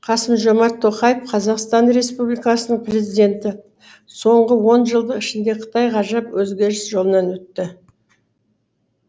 қасым жомарт тоқаев қазақстан республикасының президенті соңғы онжылдық ішінде қытай ғажап өзгеріс жолынан өтті